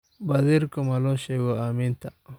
Badhirika maloshego ameenta.